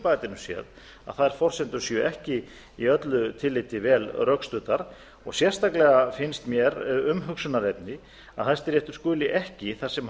bæjardyrum séð að þær forsendur séu ekki í öllu tilliti vel rökstuddar og sérstaklega finnst mér umhugsunarefni að hæstiréttur skuli ekki þar sem